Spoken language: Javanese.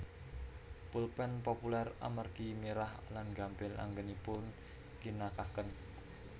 Pulpén populér amargi mirah lan gampil anggenipun ngginakaken